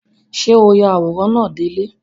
Ṣé o ya àwòrán náà dé ilẹ̀?